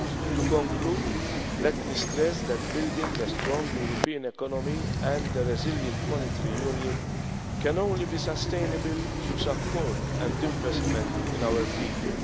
To conclude, let me stress that building a strong European economy and a resilient monetary union can only be sustainable through support and investment in our people.